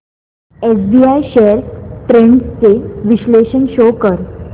SBI shares trends चे विश्लेषण show कर